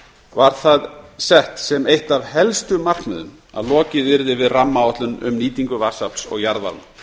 var það sett sem eitt af helstu markmiðum að lokið yrði við rammaáætlun um nýtingu vatnsafls og jarðvarma